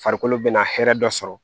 Farikolo bɛna hɛrɛ dɔ sɔrɔ